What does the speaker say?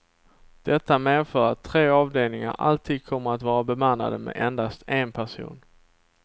Detta medför att tre avdelningar alltid kommer att vara bemannade med endast en person.